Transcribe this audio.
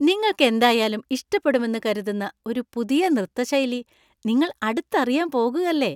നിങ്ങൾക്കെന്തായാലും ഇഷ്‌ടപ്പെടുമെന്ന് കരുതുന്ന ഒരു പുതിയ നൃത്ത ശൈലി നിങ്ങൾ അടുത്തറിയാൻ പോകുകല്ലേ!